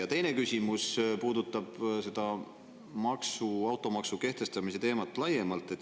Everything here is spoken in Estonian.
Ja teine küsimus puudutab automaksu kehtestamise teemat laiemalt.